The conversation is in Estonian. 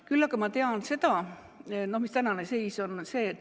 Küll aga ma tean, mis tänane seis on.